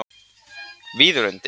Víðilundi